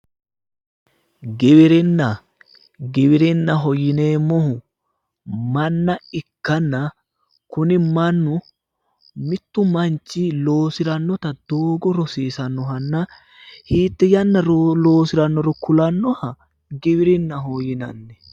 Giwirinna, giwirinnaho yineemmohu manna ikkanna kuni mannu mittu manchi loosirannota doogo rosiisanno manna hiitte yanna loosirannoro kulannoha giwirinnaho yinanni.